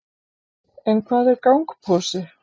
en hvað er gangposi